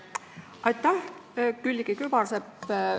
Aitäh, Külliki Kübarsepp!